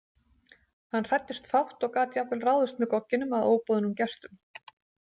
Hann hræddist fátt og gat jafnvel ráðist með gogginum að óboðnum gestum.